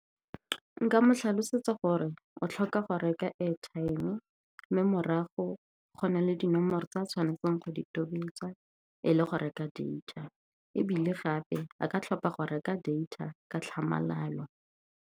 Nka mo tlhalosetsa gore o tlhoka go reka airtime-e, mme morago go na le dinomoro tse a tshwanetseng go di tobetsa e le go reka data. Ebile gape a ka tlhopa go reka data ka tlhamalalo.